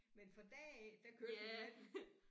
Men fra da af der kørte hun med den